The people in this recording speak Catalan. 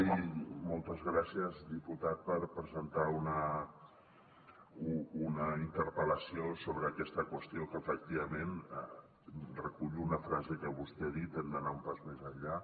i moltes gràcies diputat per presentar una interpel·lació sobre aquesta qüestió en que efectivament recullo una frase que vostè ha dit hem d’anar un pas més enllà